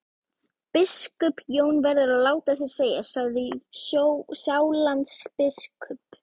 Biskup Jón verður að láta sér segjast, sagði Sjálandsbiskup.